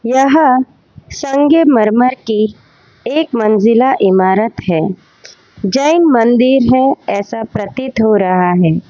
यह संगमरमर की एक मंजिला इमारत है। जैन मंदिर है ऐसा प्रतीत हो रहा है।